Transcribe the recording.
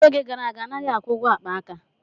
N'oge gara aga, a naghị akwụ ụgwọ akpa aka.